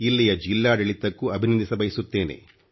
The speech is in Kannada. ಇಲ್ಲಿಯ ಜಿಲ್ಲಾಡಳಿತಕ್ಕೂ ಅಭಿನಂದಿಸಬಯಸುತ್ತೇನೆ